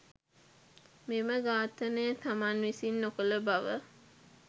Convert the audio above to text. මෙම ඝාතනය තමන් විසින් නොකළ බව